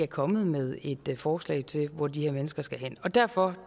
kommet med et forslag til hvor de her mennesker skal hen derfor